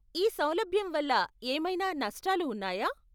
ఈ సౌలభ్యం వల్ల ఏమైనా నష్టాలు ఉన్నాయా?